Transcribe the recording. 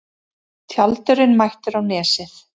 Tjaldurinn mættur á Nesið